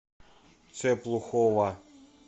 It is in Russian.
цеплухова